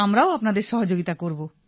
আমরাও আপনাদের সহযোগিতা করব